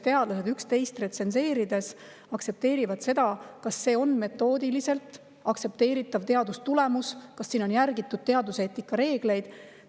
Teadlased üksteist retsenseerides, kas see teadustulemus on metoodiliselt aktsepteeritav, kas on järgitud teaduseetika reegleid.